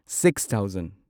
six thousand